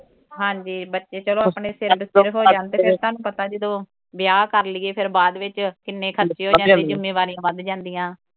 ਹਾਂਜੀ ਬੱਚੇ ਚਲੋ ਆਪਣੇ ਪੈਰ ਤੇ ਖੜੇ ਹੋ ਜਾਣ ਤੇ ਫਿਰ ਤੁਹਾਨੂੰ ਪਤਾ ਜਦੋਂ ਵਿਆਹ ਕਰ ਲਈਏ ਫਿਰ ਬਾਅਦ ਵਿੱਚ ਕਿੰਨੇ ਖ਼ਰਚੇ ਹੋ ਜਾਂਦੇ, ਜਿੰਮੇਵਾਰੀਆਂ ਵੱਧ ਜਾਂਦੀਆਂ।